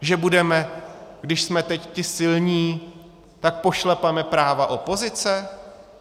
Že budeme, když jsme teď ti silní, tak pošlapeme práva opozice?